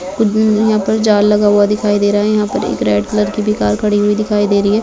कु--यहाँ पर जाल लगा हुआ दिखाई दे रहा है यहां पर एक रेड कलर की भी कार खड़ी हुई दिखाई दे रही--